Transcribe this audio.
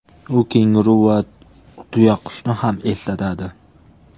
U kenguru va tuyaqushni ham eslatadi.